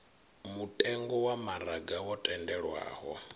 mutengo wa maraga wo tendelwaho